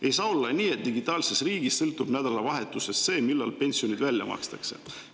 Ei saa olla nii, et digitaalses riigis sõltub nädalavahetusest see, pensionid välja makstakse.